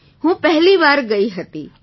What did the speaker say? જી હું પહેલી વાર ગઈ હતી